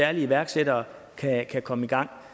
at iværksættere kan komme i gang